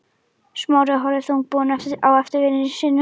Smári horfði þungbúinn á eftir syni sínum.